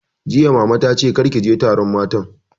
Jiya Mamanta ta ce 'kar ki je taron matan'!